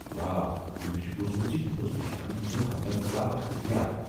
واہ ۔ مےٚ چُھ بوٗزمُت زِ یہ اوس دُشمنن ہٕنٛدین حملن خلاف اكھ ہتھیار۔